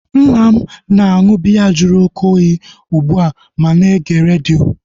Nna m na-aṅụ biya jụrụ oké oyi ugbua ma na-ege redio